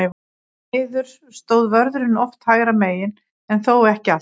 Því miður stóð vörðurinn oft hægra megin, en þó ekki alltaf.